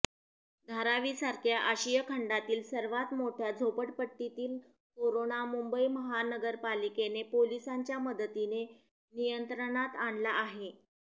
धारावीसारख्या आशिया खंडातील सर्वात मोठ्या झोपडपट्टीतील कोरोना मुंबई महानगरपालिकेने पोलिसांच्या मदतीने नियंत्रणात आणला आहे